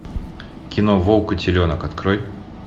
кино волк и теленок открой